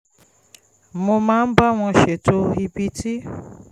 mo máa ń bá wọn ṣètò ibi tí